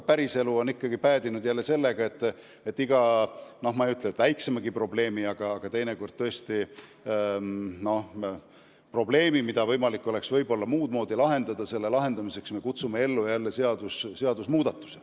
Päriselus on asi ikkagi tihti päädinud sellega, lahendame mitte just väikseimagi probleemi, aga teinekord tõesti probleemi, mille oleks saanud muudmoodi lahendada, ikka jälle seaduse muutmise seadusega.